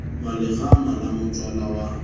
wa lerama la motswala wa